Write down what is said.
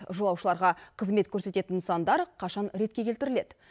жолаушыларға қызмет көрсететін нысандар қашан ретке келтіріледі